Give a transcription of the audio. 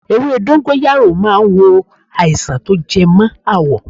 Ewé dọ́ńgóráyò ma ń wo àìsàn tó jẹ mọ́ àwọ̀.